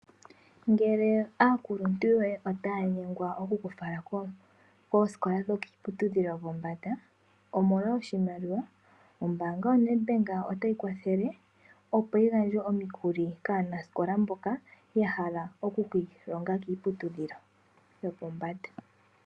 Ngele aakuluntu yoye otaya nyengwa okukufala koosikola dhikiiputudhilo pombanda omolwa iimaliwa, Ombaanga ya Nedbank otayi kwathele opo yi gandje oshimaliwa kaanasikola mboka yahala oku ki ilonga kiiputudhilo yopombanda